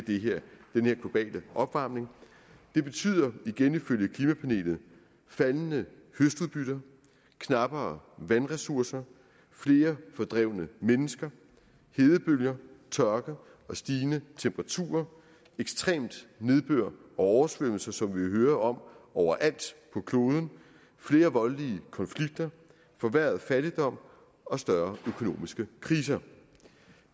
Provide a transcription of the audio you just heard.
den her globale opvarmning det betyder igen ifølge klimapanelet faldende høstudbytte knappere vandressourcer flere fordrevne mennesker hedebølger tørke og stigende temperaturer ekstrem nedbør oversvømmelser som vi jo hører om overalt på kloden flere voldelige konflikter forværret fattigdom og større økonomiske kriser